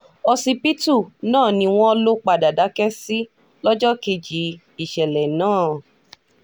ọsibítù náà ni wọ́n lọ padà dákẹ́ sí lọ́jọ́ kejì ìṣẹ̀lẹ̀ náà